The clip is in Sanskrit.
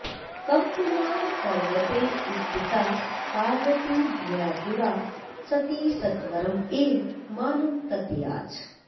कम्पमानपर्वते स्थिता पार्वती भयातुरा सती सत्वरमेव मानं तत्याज